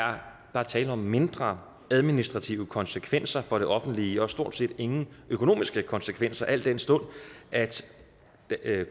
er tale om mindre administrative konsekvenser for det offentlige og stort set ingen økonomiske konsekvenser al den stund at